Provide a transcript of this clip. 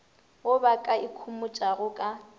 wo ba ka ikhomotšago ka